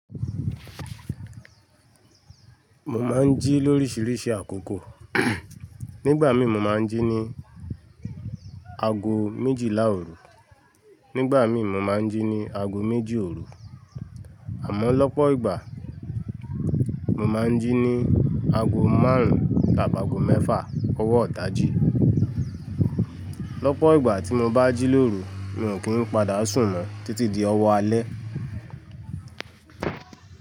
Mo máa ń jí lóríṣiríṣi àkókò. Nígbà mí mo máa ń jí ní ago méjìlá òru, nígbà mí mo máa ń jí ní ago méjì òru, àmọ́ lọ́pọ̀ ìgbà mo máa ń jí ní ago márùn-ún tàbí ago mẹ́fà ọwọ́ ìdájí. Lọ́pọ̀ ìgbà tí mo bá jí lóru, mi ò kí ń padà sùn mọ́ títí di ọwọ́ alẹ́